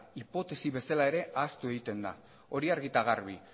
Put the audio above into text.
hipotesi bezala ere ahaztu egiten da hori argi eta garbi